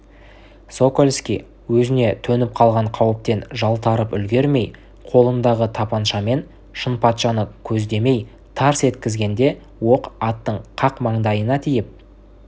сокольский өзіне төніп қалған қауіптен жалтарып үлгермей қолындағы тапаншамен шынпатшаны көздемей тарс еткізгенде оқ аттың қақ маңдайына тиіп